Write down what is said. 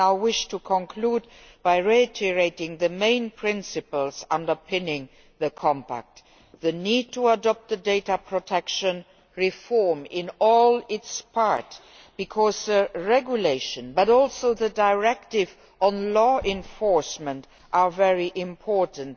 I now wish to conclude by reiterating the main principles underpinning the compact the need to adopt the data protection reform in all its parts because the regulation, but also the directive on law enforcement, are both very important.